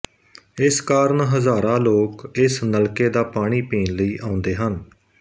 ਇਸ ਕਾਰਨ ਹਜ਼ਾਰਾ ਲੋਕ ਇਸ ਨਲਕੇ ਦਾ ਪਾਣੀ ਪੀਣ ਲਈ ਆਉਦੇ ਹਨ